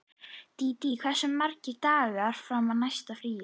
Dídí, hversu margir dagar fram að næsta fríi?